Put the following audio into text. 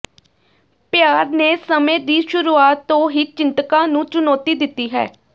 ਪਿਆਰ ਨੇ ਸਮੇਂ ਦੀ ਸ਼ੁਰੂਆਤ ਤੋਂ ਹੀ ਚਿੰਤਕਾਂ ਨੂੰ ਚੁਣੌਤੀ ਦਿੱਤੀ ਹੈ